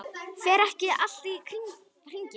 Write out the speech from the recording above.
Fer ekki allt í hringi?